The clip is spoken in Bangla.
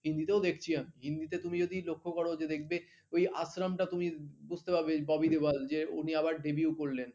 হিন্দিতেও দেখছি এখন হিন্দিতে তুমি যদি লক্ষ্য কর যে দেখবে ওই আশ্রমটা তুমি বুঝতে পারবে ববি দেওয়াল যে উনি আবার daviue ও করলেন